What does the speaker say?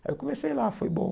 Aí eu comecei lá, foi bom.